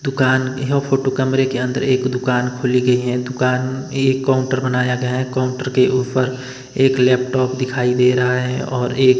दुकान यह फोटो कमरे के अंदर एक दुकान खुली गई है दुकान एक काउंटर बनाया गया है काउंटर के ऊपर एक लैपटॉप दिखाई दे रहा है और एक--